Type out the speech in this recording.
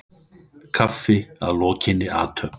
Kaffi að lokinni athöfn.